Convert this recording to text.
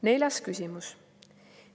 Neljas küsimus.